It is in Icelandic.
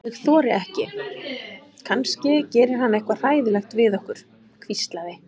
Ég þori ekki, kannski gerir hann eitthvað hræðilegt við okkur. hvíslaði